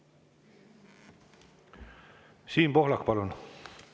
Siim Pohlak, palun!